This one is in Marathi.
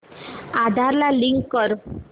आधार ला लिंक कर